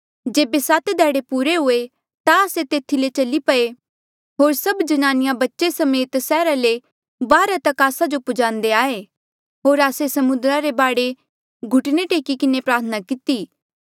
जेबे सात ध्याड़े पुरे हुए ता आस्से तेथी ले चली पये होर सभ ज्नानिया बच्चे समेत सैहरा ले बाहरा तक आस्सा जो पुजांदे आये होर आस्से समुद्रा रे बाढे घुटने टेकी किन्हें प्रार्थना किती